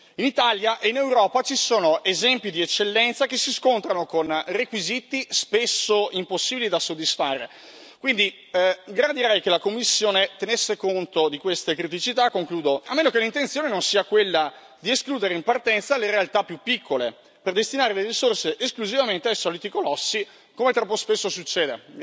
In Italia e in Europa ci sono esempi di eccellenza che si scontrano con requisiti spesso impossibili da soddisfare, quindi gradirei che la Commissione tenesse conto di queste criticità, a meno che l'intenzione non sia quella di escludere in partenza le realtà più piccole per destinare le risorse esclusivamente ai soliti colossi, come troppo spesso succede.